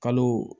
Kalo